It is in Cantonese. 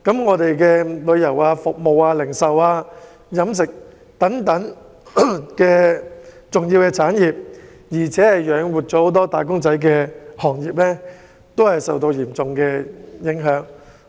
我們的旅遊業、服務業、零售業、飲食業等養活不少"打工仔"的重要行業均受到嚴重影響。